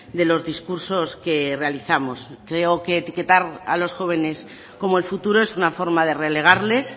de los discursos que realizamos creo que etiquetar a los jóvenes como el futuro es una forma de relegarles